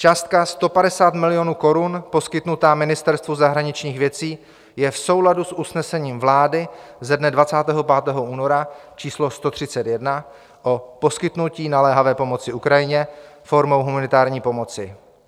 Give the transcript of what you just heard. Částka 150 milionů korun poskytnutá Ministerstvu zahraničních věcí je v souladu s usnesením vlády ze dne 25. února číslo 131, o poskytnutí naléhavé pomoci Ukrajině formou humanitární pomoci.